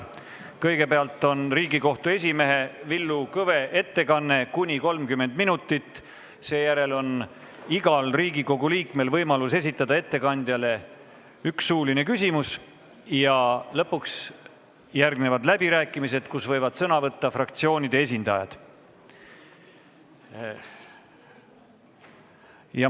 Kõigepealt on Riigikohtu esimehe Villu Kõve ettekanne kuni 30 minutit, seejärel on igal Riigikogu liikmel võimalus esitada ettekandjale üks suuline küsimus ja lõpuks järgnevad läbirääkimised, kus võivad sõna võtta fraktsioonide esindajad.